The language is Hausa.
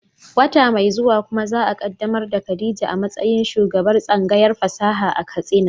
Wata mai zuwa kuma za a kaddamar da Khadija a matsayin shugabar tsangayar fasaha ta Katsina.